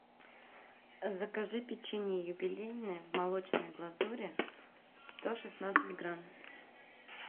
закажи печенье юбилейное в молочной глазури сто шестнадцать грамм